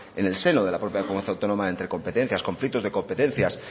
en el seno de la propia comunidad autónoma entre competencias conflictos de competencias